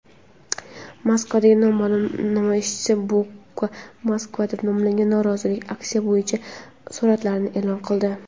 Moskvada noma’lum namoyishchi "Bucha-Moskva" deb nomlangan norozilik aksiyasi bo‘yicha suratlarini e’lon qildi.